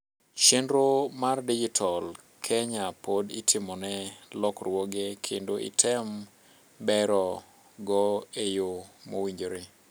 chenro mar dijital Kenya pod itimone lokruoge kendo item bero go e yoo mowinjire